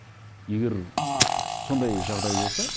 егер сондай жағдай болса